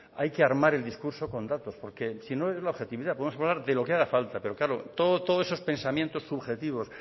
hay que armar el discurso con datos porque si no es la objetividad podemos hablar de lo que haga falta pero claro todos esos pensamientos subjetivos